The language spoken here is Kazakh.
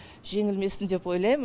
жеңілмесін деп ойлайм